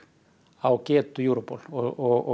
á getu Europol og